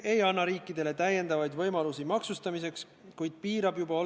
Nii et ma ikkagi teen ettepaneku, et teil võiks olla see võimalus juhatusega vähemalt teemat arutada.